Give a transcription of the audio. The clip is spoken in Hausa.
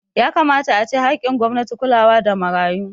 Yakamata ace haƙƙin gwamnati kulawa da marayu